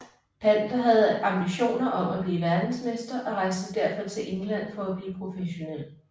Pander havde ambitioner om at blive verdensmester og rejste derfor til England for at blive professionel